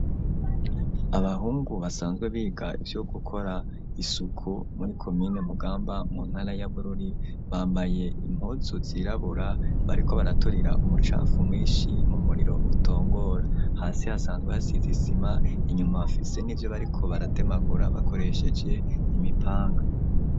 Abahungu, basanzwe biga, ivyo gukora isuku, muri komine Mugamba, mu ntara ya Bururi; bambaye impuzu zirabura, bariko baraturira, umucafu mwishi, mu muriro utongora; hasi, hasanzwe hasize isima, inyuma, bafise n'ivyo, bariko baratemagura, bakoresheje imipanga.